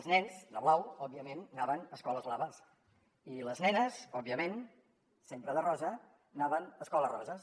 els nens de blau òbviament anaven a escoles blaves i les nenes òbviament sempre de rosa anaven a escoles roses